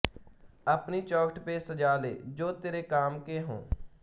ਅਪਨੀ ਚੌਖਟ ਪੇ ਸਜਾ ਲੇ ਜੋ ਤਿਰੇ ਕਾਮ ਕੇ ਹੋਂ